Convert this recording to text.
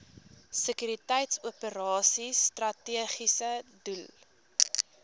sekuriteitsoperasies strategiese doel